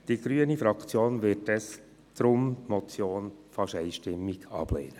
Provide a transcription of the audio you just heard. Die grüne Fraktion wird deshalb die Motion fast einstimmig ablehnen.